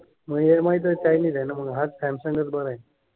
मग M I तर Chinese आहे ना. मग हाच सॅमसंगच बरा आहे.